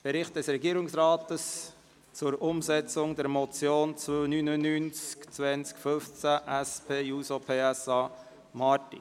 Bericht des Regierungsrates zur Umsetzung der Motion 299-2015 SP-JUSO-PSA (Marti, Bern)».